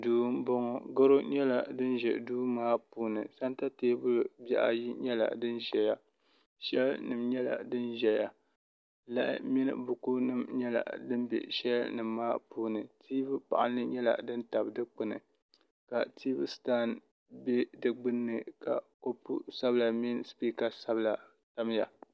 duu n boŋo gɛro nyɛla din bɛ duu maa puuni sɛnta teebuli dibaayi nyɛla din ʒɛya shɛll nim nyɛla din ʒɛya lahi mini buku nim nyɛla din bɛ shɛl nim maa puuni tiivi panli nyɛla din tabi dikpuni ka tiivi sitan bɛ di gbunni ka kopu sabila mini spika sabila tamya